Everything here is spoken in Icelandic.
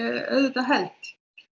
auðvitað held